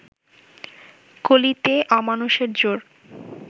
কলিতে অমানুষের জোর